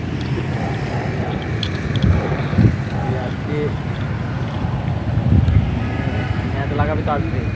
গিয়ে আজকে হম মানে match লাগাতে তো আসবে